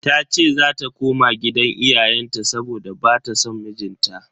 Tace zata koma gidan iyayenta saboda bata son mijinta.